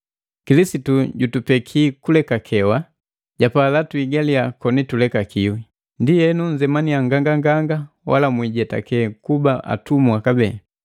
Kilisitu jutupekiya kulekakewa, japala tuhigaliya tulekakiwi. Ndienu nnzemanya nganganganga wala mwijetake kuba atumwa kabee.